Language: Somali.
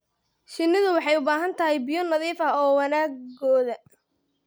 Shinnidu waxay u baahan tahay biyo nadiif ah wanaaggooda.